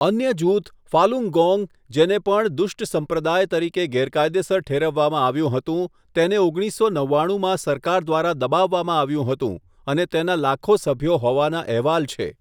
અન્ય જૂથ, ફાલુન્ગોંગ, જેને પણ 'દુષ્ટ સંપ્રદાય' તરીકે ગેરકાયદેસર ઠેરવવામાં આવ્યું હતું, તેને ઓગણીસો નવ્વાણુંમાં સરકાર દ્વારા દબાવવામાં આવ્યું હતું, અને તેના લાખો સભ્યો હોવાના અહેવાલ છે.